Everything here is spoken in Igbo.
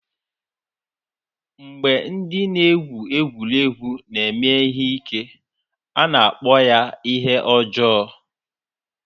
Mgbe ndị na-egwu egwuregwu na-eme ihe ike, a na-akpọ ya ihe ọjọọ.